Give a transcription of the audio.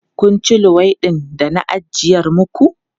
Kun ci luwaiɗin da na ajiyar maku?